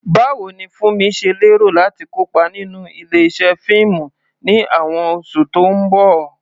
Báwo ni Funmi ṣe lérò láti kópa nínú ilé-iṣẹ́ fíìmù ní àwọn oṣù tó ń bọ̀?